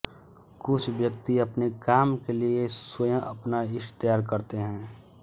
कुछ व्यक्ति अपने काम के लिये स्वयं अपना यीस्ट तैयार करते है